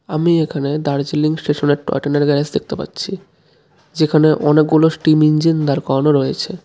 আমি এখানে দার্জিলিং স্টেশনের টয় ট্রেনের গ্যারেজ দেখতে পাচ্ছি যেখানে অনেকগুলো স্টিম ইঞ্জিন দাঁড় করানো রয়েছে .